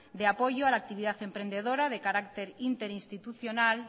de apoyo a la actividad emprendedora de carácter interinstitucional